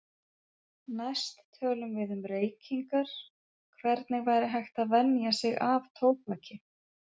Næst tölum við um reykingar, hvernig væri hægt að venja sig af tóbaki.